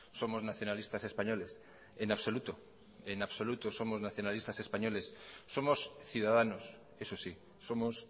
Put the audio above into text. somos nacionalistas españoles en absoluto en absoluto somos nacionalistas españoles somos ciudadanos eso sí somos